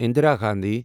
Indira Gandhi